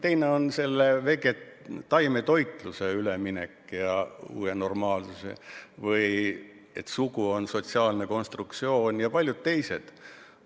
Teine on taimetoitlusele üleminek ja uus normaalsus või see, et sugu on sotsiaalne konstruktsioon jpt.